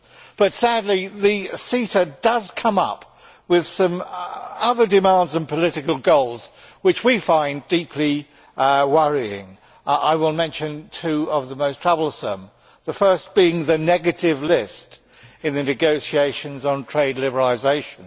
But sadly, CETA does come up with some other demands and political goals which we find deeply worrying. I will mention two of the most troublesome, the first being the negative list in the negotiations on trade liberalisation.